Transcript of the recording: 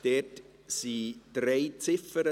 Dort gibt es drei Ziffern.